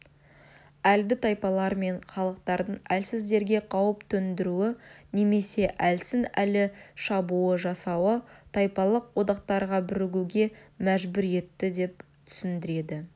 әлді тайпалар мен халықтардың әлсіздерге қауіп төндіруі немесе әлсін-әлі шабуыл жасауы тайпалық одақтарға бірігуге мәжбүр етті деп түсіндіреді